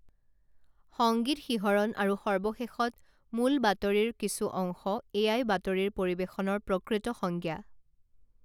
সঙ্গীত শিহৰণ আৰু সৰ্বশেষত মূল বাতৰিৰ কিছু অংশ এয়াই বাতৰিৰ পৰিৱেশনৰ প্ৰকৃত সংজ্ঞা